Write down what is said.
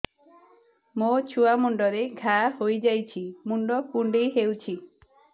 ମୋ ଛୁଆ ମୁଣ୍ଡରେ ଘାଆ ହୋଇଯାଇଛି ମୁଣ୍ଡ କୁଣ୍ଡେଇ ହେଉଛି